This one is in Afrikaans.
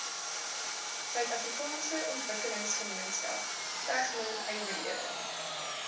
suidafrikaanse ontwikkelingsgemeenskap tegnonywerhede